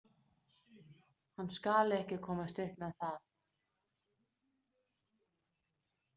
Hann skal ekki komast upp með það.